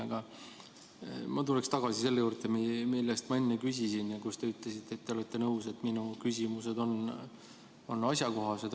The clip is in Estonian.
Aga ma tuleksin tagasi selle juurde, mille kohta ma enne küsisin ja mille peale te ütlesite, et olete nõus, et minu küsimused on asjakohased.